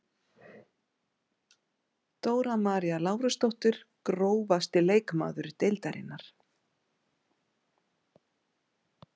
Dóra María Lárusdóttir Grófasti leikmaður deildarinnar?